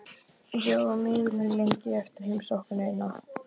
Ég var miður mín lengi eftir heimsóknina.